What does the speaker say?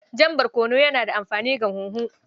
Jan barkono yana da amfani ga huhu.